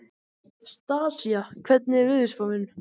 Stasía, hvernig er veðurspáin?